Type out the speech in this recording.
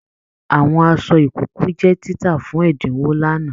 Àwọn aṣọ ìkókó jẹ títà fún ẹdinwo l'ana.